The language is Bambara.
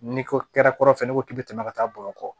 N'i ko kɛrɛ kɔrɔ fɛ n'i ko k'i bi tɛmɛ ka taa bamakɔ